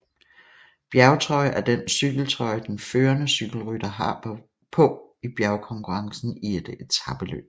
Bjergtrøje er den cykeltrøje den førende cykelrytter har på i bjergkonkurrencen i et etapeløb